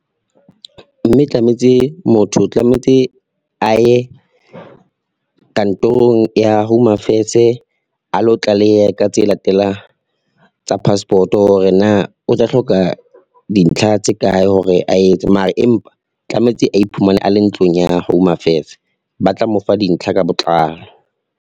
Mme tlametse motho o tlametse a ye, kantorong ya Home Affairs-e a lo tlaleha ka tse latelang tsa passport-o hore na o tla hloka dintlha tse kae hore a e etse mara, empa tlametse a iphumane a le ntlong ya Home Affairs. Ba tla mo fa dintlha ka botlalo.